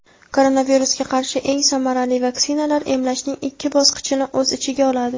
Koronavirusga qarshi eng samarali vaksinalar emlashning ikki bosqichini o‘z ichiga oladi.